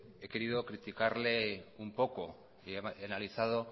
he querido criticarle un poco y he analizado